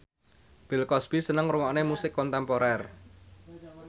Bill Cosby seneng ngrungokne musik kontemporer